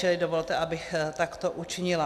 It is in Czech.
Čili dovolte, abych takto učinila.